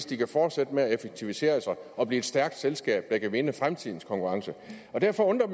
de kan fortsætte med at effektivisere og blive et stærkt selskab der kan vinde fremtidens konkurrence derfor undrer